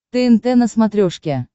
тнт на смотрешке